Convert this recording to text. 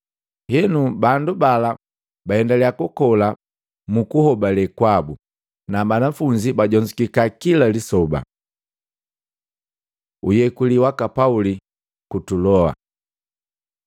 Henu, bandu bala baendaliya kukola mu kuhobale kwabu, na banafunzi bajonzukika kila lisoba. Uyeku waka Pauli ku Tuloa